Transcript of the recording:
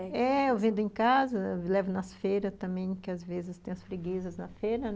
É, eu vendo em casa, eu levo nas feiras também, que às vezes tem as freguesas na feira, né?